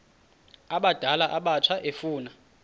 abadala abatsha efuna